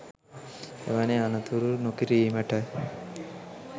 එවැනි අනතුරු නොකිරීමට